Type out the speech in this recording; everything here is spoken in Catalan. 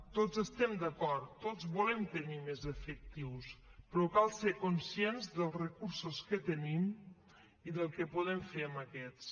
tots estem d’acord tots volem tenir més efectius però cal ser conscient dels recursos que tenim i del que podem fer amb aquests